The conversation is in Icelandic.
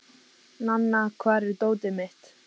Nanna, hvar er dótið mitt?